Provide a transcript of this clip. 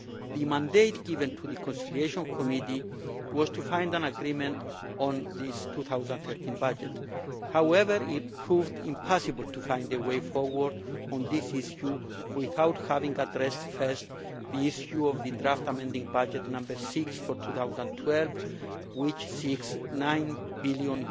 The mandate given to the Conciliation Committee was to find an agreement on the 2013 budget. However, it proved impossible to find a way forward on this issue without having addressed first the issue of the draft amending budget No 6 for 2012, which seeks EUR 9 billion